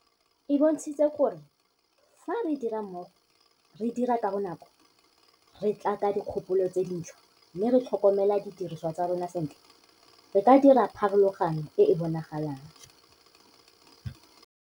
e bontshitse gore fa re dira mmogo, re dira ka bonako, re tla ka dikgopolo tse dintšhwa mme re tlhokomela didirisiwa tsa rona sentle, re ka dira pharologano e e bonalang.